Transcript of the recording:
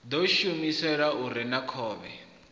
ḓo shumiswa u rea khovhe